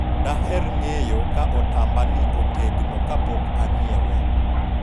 daher ng'eyo ka otamba ni otegno kapok anyiewe